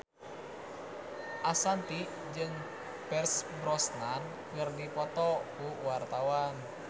Ashanti jeung Pierce Brosnan keur dipoto ku wartawan